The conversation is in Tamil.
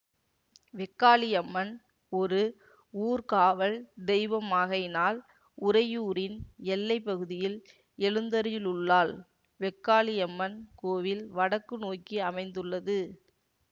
வெக்காளியம்மன் ஒரு ஊர்க்காவல் தெய்வமாகையினால் உறையூரின் எல்லை பகுதியில் எழுந்தரியுள்ளாள் வெக்காளியம்மன் கோவில் வடக்கு நோக்கி அமைந்துள்ளது